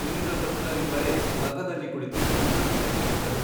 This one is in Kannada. ಇಂದ್ರ ವೃತ್ರರಿಬ್ಬರೇ ರಥದಲ್ಲಿ ಕುಳಿತು ಸಮುದ್ರತೀರಕ್ಕೆ ಹೊದರು.